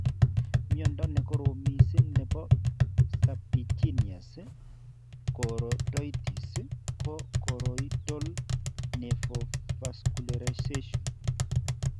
Miondo nekorom mising nebo serpiginous choroiditis ko choroidal neovascularization